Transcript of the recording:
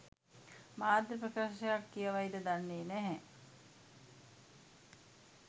මාධ්‍ය ප්‍රකාශයක් කියවයිද දන්නේ නැහැ.